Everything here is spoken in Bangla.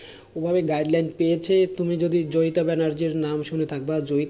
ওভাবে guideline পেয়েছে তুমি যদি জয়িতা ব্যানার্জীর নাম শুনে থাকবা,